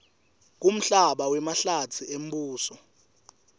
kumhlaba wemahlatsi embuso